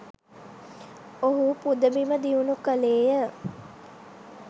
ඔහු පුදබිම දියුණු කළේ ය.